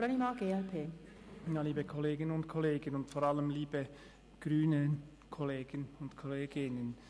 Liebe Kollegen und Kolleginnen, und vor allem liebe Grüne Kollegen und Kolleginnen.